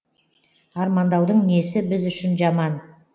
армандаудың несі біз үшін жаман